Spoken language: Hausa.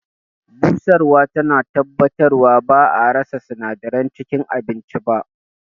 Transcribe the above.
Busarwa tana tabbatarwa ba'a rasa sinadaran cikin abincin ba.